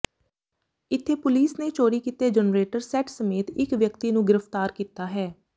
ਇੱਥੇ ਪੁਲੀਸ ਨੇ ਚੋਰੀ ਕੀਤੇ ਜਨਰੇਟਰ ਸੈੱਟ ਸਮੇਤ ਇੱਕ ਵਿਅਕਤੀ ਨੂੰ ਗ੍ਰਿਫਤਾਰ ਕੀਤਾ ਹੈ